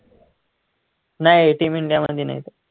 नाही team इंडियामध्ये नाही तो